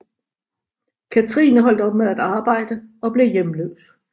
Kathrine holdt op med at arbejde og blev hjemløs